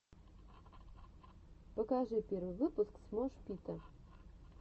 покажи первый выпуск смош пита